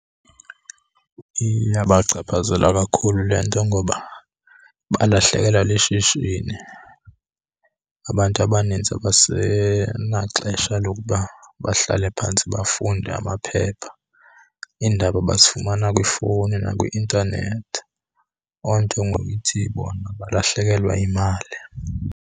Iyabachaphazela kakhulu le nto ngoba balahlekelwa lishishini. Abantu abanintsi abasenaxesha lokuba bahlale phantsi bafunde amaphepha, iindaba bazifumana kwifowuni nakwi-intanethi. Loo nto ngoku ithi bona balahlekelwa yimali.